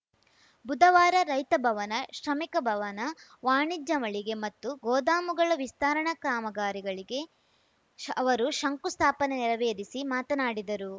ಬುಧವಾರ ರೈತ ಭವನ ಶ್ರಮಿಕ ಭವನ ವಾಣಿಜ್ಯ ಮಳಿಗೆ ಮತ್ತು ಗೋದಾಮುಗಳ ವಿಸ್ತರಣಾ ಕಾಮಗಾರಿಗಳಿಗೆ ಶ ಅವರು ಶಂಕು ಸ್ಥಾಪನೆ ನೆರವೇರಿಸಿ ಮಾತನಾಡಿದರು